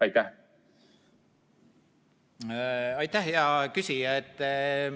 Aitäh, hea küsija!